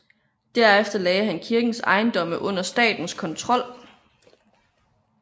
Derefter lagde han kirkens ejendomme under statens kontrol